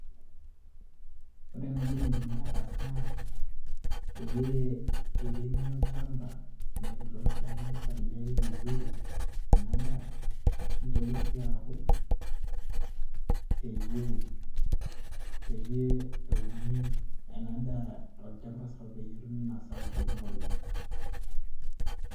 ore naaji enidimi ataas naa peyie eremi olchamba teneeku itosha nipaliliay vizuri ena daa nitoki sii aaku peyie, peyie euni ena daa tolchamba sapuk peyie etumi masao kumok oleng.